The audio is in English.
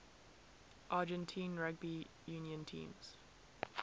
argentine rugby union teams